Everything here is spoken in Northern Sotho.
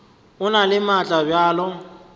e na le maatla bjalo